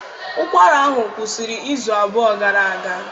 Ụkwara ahụ kwụsịrị izu abụọ gara aga